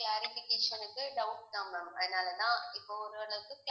clarification க்கு doubt தான் ma'am அதனாலதான் இப்ப ஓரளவுக்கு